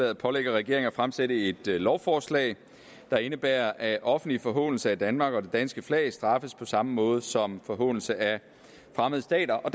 at pålægge regeringen at fremsætte et lovforslag der indebærer at offentlig forhånelse af danmark og af det danske flag straffes på samme måde som en forhånelse af fremmede stater og